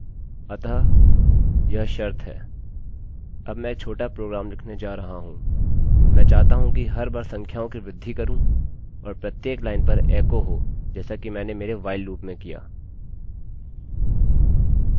अब मैं एक छोटा प्रोग्राम लिखने जा रहा हूँ मैं चाहता हूँ कि हर बार संख्याओं की वृद्धि करूँ और प्रत्येक लाइन पर एकोecho हो जैसा कि मैंने मेरे while loopलूपमें किया